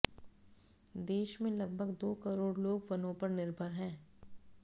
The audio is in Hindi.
देश में लगभग दो करोड़ लोग वनों पर निर्भर हैं